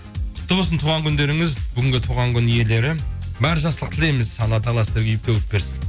құтты болсын туған күндеріңіз бүгінгі туған күн иелері барлық жақсылықты тілейміз алла тағала сіздерге үйіп төгіп берсін